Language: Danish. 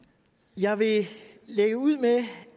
jeg vil lægge ud med